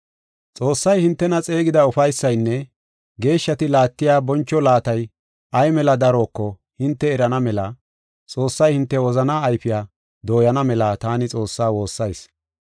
Xoossay hintena xeegida ufaysaynne geeshshati laattiya boncho laatay ay mela daroko hinte erana mela Xoossay hinte wozana ayfiya dooyana mela taani Xoossaa woossayis.